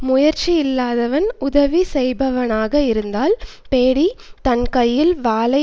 முயற்சி இல்லாதவன் உதவிசெய்பவனாக இருத்தல் பேடி தன் கையில் வாளை